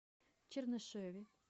чернышеве